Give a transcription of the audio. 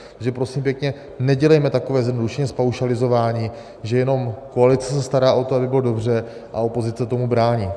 Takže prosím pěkně, nedělejme takové zjednodušení, zpaušalizování, že jenom koalice se stará o to, aby bylo dobře, a opozice tomu brání.